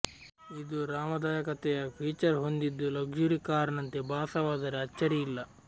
ಇದು ಆರಾಮದಾಯಕತೆಯ ಫೀಚರ್ ಹೊಂದಿದ್ದು ಲಕ್ಷುರಿ ಕಾರ್ ನಂತೆ ಭಾಸವಾದರೆ ಅಚ್ಚರಿಯಿಲ್ಲ